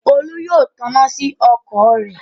Olú yóò taná sí ọkọ̀ rẹ̀.